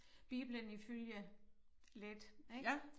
Bibelen ifølge Leth ik